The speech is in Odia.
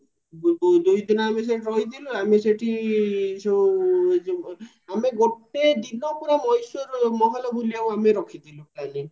ଦୁଇ ଦିନ ଆମେ ସେଠି ରହିଥିଲୁ ଆମେ ସେଠି ଯୋଉ ଏଯୋଉ ଆମେ ଗୋଟେ ଦିନ ପୁରା ମଏଶ୍ଵରର ମହଲ ବୁଲିବାକୁ ଆମେ ରଖିଥିଲୁ